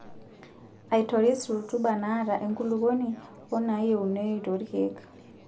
Aitoris rutuba naata enkulukuoni wenayieunoyu toorkiek.